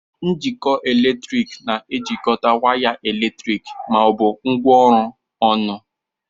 Njikọ eletrik na-ejikọta waya eletriki ma ọ bụ ngwaọrụ ọnụ.